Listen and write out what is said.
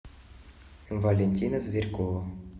валентина зверькова